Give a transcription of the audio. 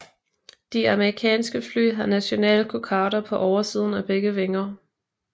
De amerikanske fly har nationalkokarder på oversiden af begge vinger